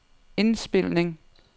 indspilning